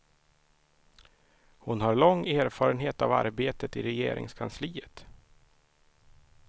Hon har lång erfarenhet av arbetet i regeringskansliet.